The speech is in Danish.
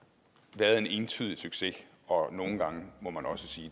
været en entydig succes og nogle gange må man også sige